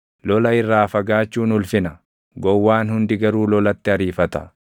Lola irraa fagaachuun ulfina; gowwaan hundi garuu lolatti ariifata.